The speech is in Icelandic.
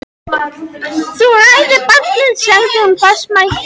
Þú hræðir barnið, sagði hún fastmælt.